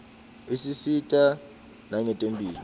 isisita nangetemphilo